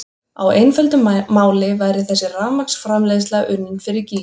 Á einföldu máli væri þessi rafmagnsframleiðsla unnin fyrir gýg!